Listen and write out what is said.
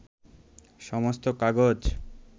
সমস্ত কাগজ